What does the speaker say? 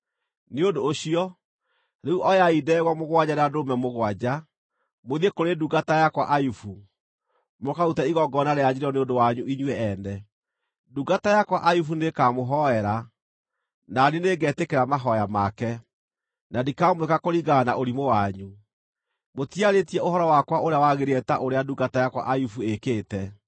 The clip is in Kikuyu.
Nĩ ũndũ ũcio, rĩu oyai ndegwa mũgwanja na ndũrũme mũgwanja, mũthiĩ kũrĩ ndungata yakwa Ayubu, mũkarute igongona rĩa njino nĩ ũndũ wanyu inyuĩ ene. Ndungata yakwa Ayubu nĩĩkamũhoera, na niĩ nĩngetĩkĩra mahooya make, na ndikamwĩka kũringana na ũrimũ wanyu. Mũtiarĩtie ũhoro wakwa ũrĩa wagĩrĩire ta ũrĩa ndungata yakwa Ayubu ĩĩkĩte.”